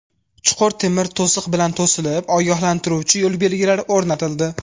Chuqur temir to‘siq bilan to‘silib, ogohlantiruvchi yo‘l belgilari o‘rnatildi.